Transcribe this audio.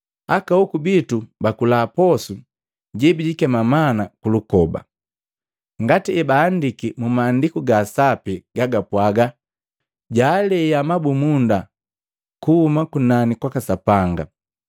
Aka hoku bitu bakula posu jebijikema mana kulukoba, ngati ebaandiki mu Maandiku ga Sapi gagapwaga, ‘Jaalea mabumunda kuhuma kunani kwaka Sapanga.’ ”